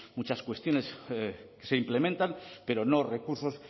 muchas cuestiones que se implementan pero no recursos